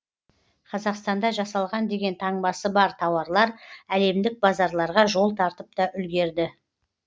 қазақстанда жасалған деген таңбасы бар тауарлар әлемдік базарларға жол тартып та үлгерді